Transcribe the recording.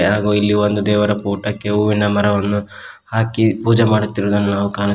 ಹಾಗೂ ಇಲ್ಲಿ ಒಂದು ದೇವರ ಫೋಟಕ್ಕೆ ಹೂವಿನ ಮರವನ್ನು ಹಾಕಿ ಪೂಜೆ ಮಾಡುತಿರುವುದನ್ನು ನಾವು ಕಾಣು--